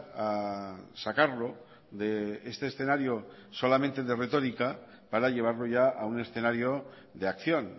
a sacarlo de este escenario solamente de retórica para llevarlo ya a un escenario de acción